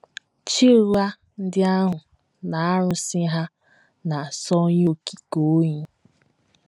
Chi ụgha ndị ahụ na arụsị ha na - asọ Onye Okike oyi.